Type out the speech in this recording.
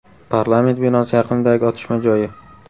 Parlament binosi yaqinidagi otishma joyi.